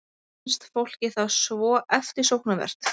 Finnst fólki það svo eftirsóknarvert?